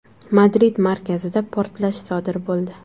Madrid markazida portlash sodir bo‘ldi.